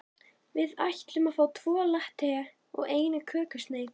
Við ætlum að fá tvo latte og eina kökusneið.